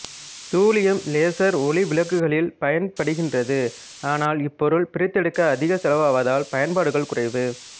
தூலியம் laser ஒளி விளக்குகளில் பயன்படுகின்றது ஆனால் இப்பொருள் பிரித்தெடுக்க அதிக செலவாவதால் பயன்பாடுகள் குறைவு